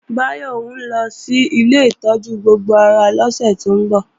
Báyọ̀ ńlọ sí ilé ìtọ́jú gbogbo ara lọ́sẹ̀ tó ń bọ̀